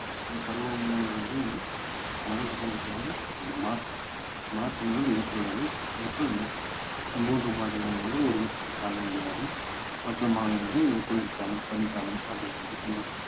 அந்த பருவம் வந்து வந்து நான்கு முறைன்றது வந்து அந்த மார்ச் மார்ச் முதல் ஏப்ரல் வரை எப்ரல் மே மூன்று மாதங்கள் வந்து ஒரு காலநிலை ஆகவும் மற்ற மாதங்கள் குளிர்காலம், பனிக்காலம் அப்படின்னு டிசம்பர்